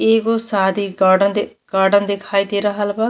एगो सादी कार्ड द कार्ड दिखाई दे रहल बा।